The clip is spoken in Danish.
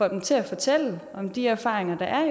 dem til at fortælle om de erfaringer der er